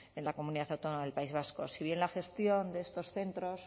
en la comunidad autónoma del país vasco si bien la gestión de estos centros